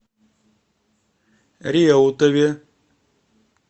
реутове